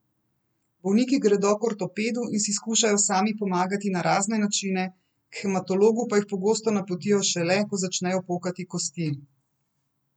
Bolniki gredo k ortopedu in si skušajo sami pomagati na razne načine, k hematologu pa jih pogosto napotijo šele, ko začnejo pokati kosti.